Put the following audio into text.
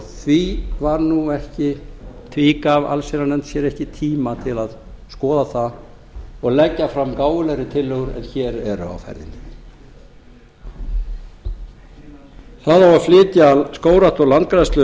því gaf allsherjarnefnd sér ekki tíma til að skoða það og leggja fram gáfulegri tillögur en hér eru á ferðinni það á að flytja skógrækt og landgræðslu